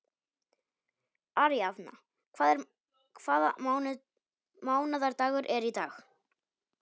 Aríaðna, hvaða mánaðardagur er í dag?